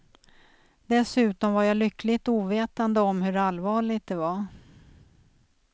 Dessutom var jag lyckligt ovetande om hur allvarligt det var.